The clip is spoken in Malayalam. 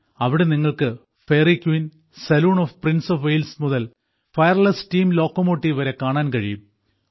അവിടെ നിങ്ങൾക്ക് Fairy Queen saloon of Prince of Wales മുതൽ ഫയർലെസ് സ്റ്റീം ലോക്കോമോട്ടീവ് വരെ കാണാൻ കഴിയും